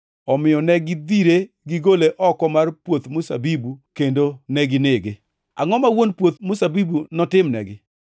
Omiyo negidhire gigole oko mar puoth mzabibu kendo neginege. “Angʼo ma wuon puoth mzabibu notimnegi?